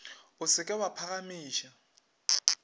o se ke wa phagamiša